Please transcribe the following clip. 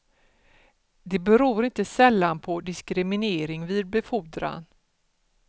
Det beror inte sällan på diskriminering vid befordran.